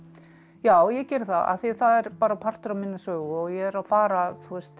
já ég geri það af því það er bara partur af minni sögu og ég er að fara